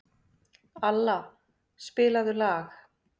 Alla, spilaðu lag.